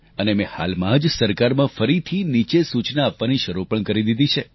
અને મેં હાલમાં જ સરકારમાં ફરીથી નીચે સૂચના આપવાની શરૂ પણ કરી દીધી છે